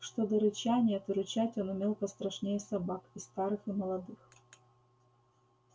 что до рычания то рычать он умел пострашнее собак и старых и молодых